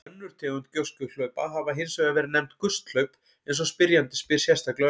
Önnur tegund gjóskuhlaupa hafa hins vegar verið nefnd gusthlaup eins og spyrjandi spyr sérstaklega um.